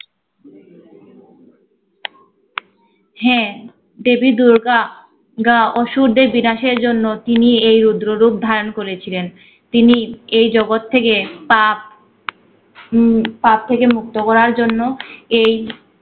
হ্যা, দেবী দূর্গা অসুরদের বিনাশের জন্য তিনি এই রুদ্ররূপ ধারণ করেছিলেন। তিনি এই জগৎ থেকে পাপ উম পাপ থেকে মুক্ত করার জন্য এই